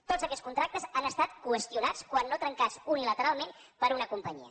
tots aquests contractes han estat qüestionats quan no trencats unilateralment per una companyia